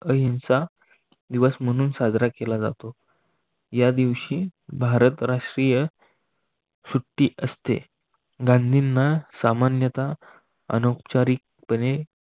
अहिंसा दिवस म्हणून साजरा केला जातो. या दिवशी भारत राष्ट्रीय सुट्टी असते गांधींना सामान्यतः अनौपचारिकपणे